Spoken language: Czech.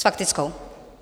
S faktickou.